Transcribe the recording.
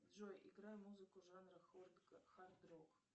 джой играй музыку жанра хард рок